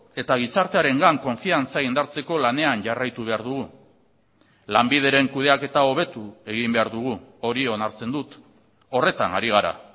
eta gizartearengan konfiantza indartzeko lanean jarraitu behar dugu lanbideren kudeaketa hobetu egin behar dugu hori onartzen dut horretan ari gara